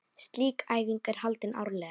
Slík æfing er haldin árlega.